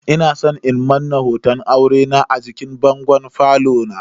Ina san in Manna hoton aurena a jikin bangon falo na.